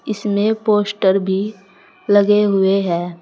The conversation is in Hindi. इसमें पोस्टर भी लगे हुए है।